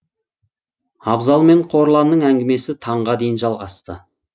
абзал мен қорланның әңгімесі таңға дейін жалғасты